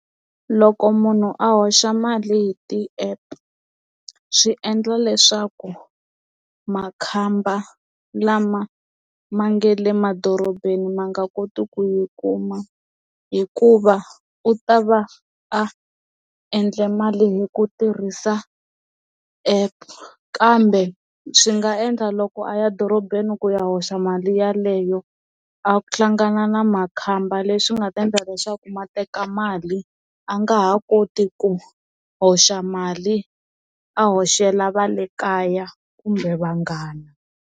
Loko munhu a hoxa mali hi ti-app swi endla leswaku makhamba lama ma nga le madorobeni ma nga koti ku yi kuma hikuva u ta va a endle mali hi ku tirhisa app kambe swi nga endla loko a ya dorobeni ku ya hoxa mali yeleyo a hlangana na makhamba leswi nga ta endla leswaku ma teka mali a nga ha koti ku hoxa mali a hoxela va le kaya kumbe vanghana.